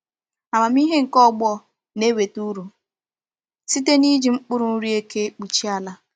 Amamihe nke ọgbọ na-enweta uru site n’iji mkpụrụ nri eke kpuchie ala.